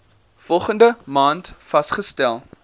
volgende maand vasgestel